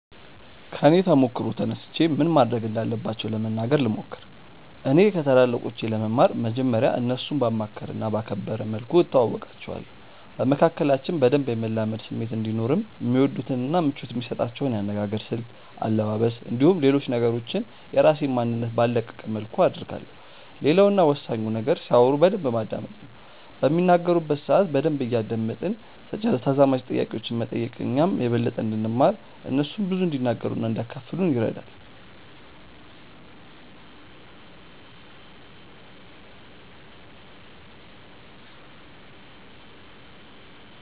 ከኔ ተሞክሮ ተነስቼ ምን ማድረግ እንዳለባቸው ለመናገር ልሞክር። እኔ ከታላላቆቼ ለመማር መጀመርያ እነርሱን ባማከለ እና ባከበረ መልኩ እተዋወቃቸዋለሁ። በመካከላችን በደንብ የመላመድ ስሜት እንዲኖርም የሚወዱትን እና ምቾት የሚሰጣቸውን የአነጋገር ስልት፣ አለባበስ፣ እንዲሁም ሌሎች ነገሮችን የራሴን ማንነት ባልለቀቀ መልኩ አደርጋለሁ። ሌላው እና ወሳኙ ነገር ሲያወሩ በደንብ ማዳመጥ ነው። በሚናገሩበት ሰአት በደንብ እያደመጥን ተዛማጅ ጥያቄዎችን መጠየቅ እኛም የበለጠ እንድንማር እነርሱም ብዙ እንዲናገሩ እና እንዲያካፍሉን ይረዳል።